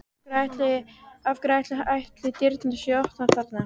Af hverju ætli dyrnar séu opnar þarna?